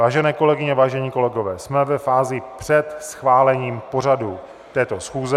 Vážené kolegyně, vážení kolegové, jsme ve fázi před schválením pořadu této schůze.